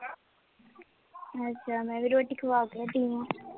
ਅੱਛਾ, ਮੈਂ ਵੀ ਰੋਟੀ ਖਵਾ ਕੇ ਹਟੀਂ ਹਾਂ